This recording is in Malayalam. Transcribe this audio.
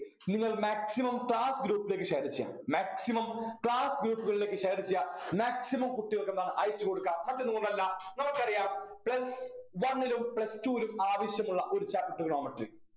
നിങ്ങള് maximum class group ലേക്ക് share ചെയ്യണം maximum class group കളിലേക്ക് share ചെയ്യാ maximum കുട്ടികൾക്കെന്താണ് അയച്ചു കൊടുക്കാ മറ്റൊന്നും കൊണ്ടല്ല നമുക്കറിയാം plus one ലും plus two ലും ആവശ്യമുള്ള ഒരു chapter trigonometry